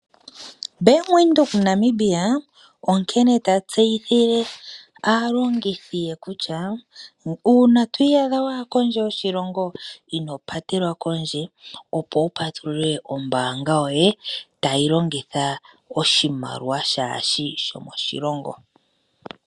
Bank Windhoek Namibia onkene ta tseyithile alongithi ye kutya uuna to iyadha waya kondje yoshilongo ino patelwa kondje opo wu patulule ombaanga yoye tayi longitha oshimaliwa kaashishi shomoshilongo.